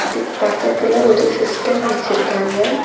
இதுக்கு பக்கத்துல ஒரு சிஸ்டம் வச்சுருக்காங்க.